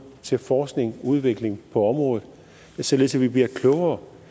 til forskning og udvikling på området således at vi bliver klogere